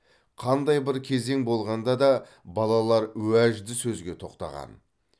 қандай бір кезең болғанда да балалар уәжді сөзге тоқтаған